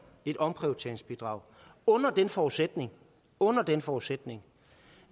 et omprioriteringsbidrag under den forudsætning under den forudsætning